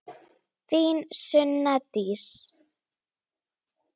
Þín Sunna Dís.